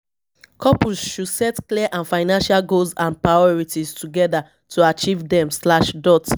couples should set clear and financial goals and priorities together to achieve dem slash dot